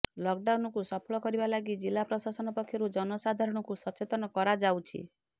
ଲକ୍ଡାଉନକୁ ସଫଳ କରିବା ଲାଗି ଜିଲ୍ଲା ପ୍ରଶାସନ ପକ୍ଷରୁ ଜନସାଧାରଣଙ୍କୁ ସଚେତନ କରାଯାଉଛି